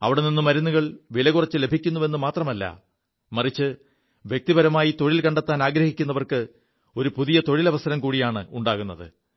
അവിടെനി് മരുുകൾ വില കുറച്ചു ലഭിക്കുുവെു മാത്രമല്ല മറിച്ച് വ്യക്തിപരമായി തൊഴിൽ കണ്ടെത്താനാഗ്രഹിക്കുവർക്ക് ഒരു പുതിയ തൊഴിലവസരം കൂടിയാണുണ്ടാകുത്